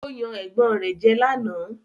Ó yan ẹ̀gbọ́n rẹ̀ jẹ́ lánàá